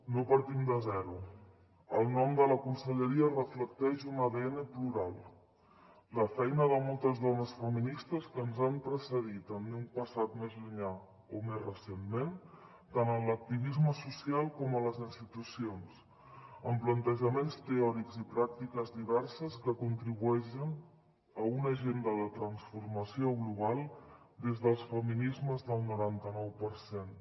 no partim de zero el nom de la conselleria reflecteix un adn plural la feina de moltes dones feministes que ens han precedit en un passat més llunyà o més recentment tant en l’activisme social com a les institucions amb plantejaments teòrics i pràctiques diverses que contribueixen a una agenda de transformació global des dels feminismes del noranta nou per cent